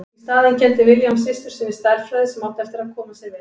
Í staðinn kenndi William systur sinni stærðfræði sem átti eftir að koma sér vel.